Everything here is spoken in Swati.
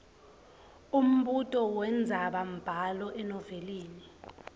umbuto wendzabambhalo enovelini